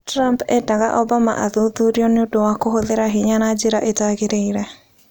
Trump endaga Obama athuthurĩrio nĩ ũndũ wa kũhũthĩra hinya na njĩra itagĩrĩire